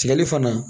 Tigɛli fana